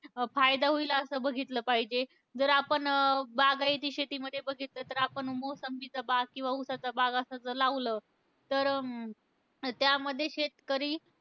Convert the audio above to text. अं फायदा होईल असं बघितलं पाहिजे. जर आपण अं बागायती शेतीमध्ये बघितलं तर आपण मोसंबीचा बाग किंवा ऊसाचा बाग असं जर लावलं तर अं त्यामध्ये शेतकरी,